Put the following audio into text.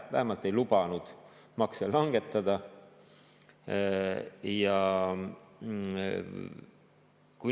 Vähemalt ei lubanud nad makse langetada.